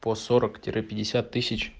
по сорок тире пятьдесят тысяч